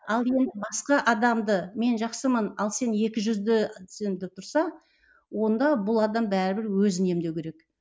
ал енді басқа адамды мен жақсымын ал сен екіжүздісің деп тұрса онда бұл адам бәрібір өзін емдеу керек